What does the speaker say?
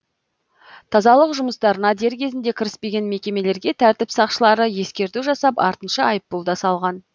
тазалық жұмыстарына дер кезінде кіріспеген мекемелерге тәртіп сақшылары ескерту жасап артынша айыппұл да салған